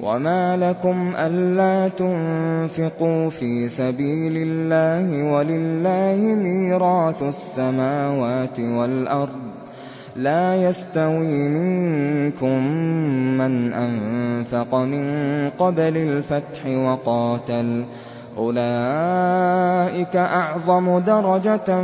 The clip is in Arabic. وَمَا لَكُمْ أَلَّا تُنفِقُوا فِي سَبِيلِ اللَّهِ وَلِلَّهِ مِيرَاثُ السَّمَاوَاتِ وَالْأَرْضِ ۚ لَا يَسْتَوِي مِنكُم مَّنْ أَنفَقَ مِن قَبْلِ الْفَتْحِ وَقَاتَلَ ۚ أُولَٰئِكَ أَعْظَمُ دَرَجَةً